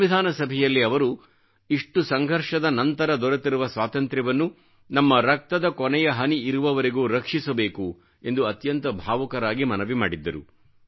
ಸಂವಿಧಾನ ಸಭೆಯಲ್ಲಿ ಅವರು ಇಷ್ಟು ಸಂಘರ್ಷದ ನಂತರ ದೊರೆತಿರುವ ಸ್ವಾತಂತ್ರ್ಯವನ್ನು ನಮ್ಮ ರಕ್ತದ ಕೊನೆಯ ಹನಿ ಇರುವವರೆಗೂ ರಕ್ಷಿಸಬೇಕು ಎಂದು ಅತ್ಯಂತ ಭಾವುಕರಾಗಿ ಮನವಿ ಮಾಡಿದ್ದರು